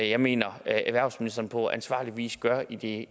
jeg mener erhvervsministeren på ansvarlig vis gør i det